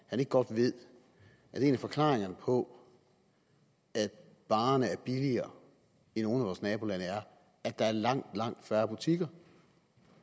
han ikke godt ved at en af forklaringerne på at varerne er billigere i nogle af vores nabolande er at der er langt langt færre butikker